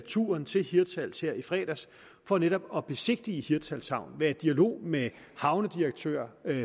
turen til hirtshals her i fredags for netop at besigtige hirtshals havn være i dialog med havnedirektør